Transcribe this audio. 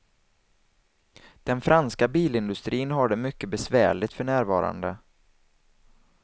Den franska bilindustrin har det mycket besvärligt för närvarande.